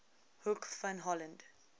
hoek van holland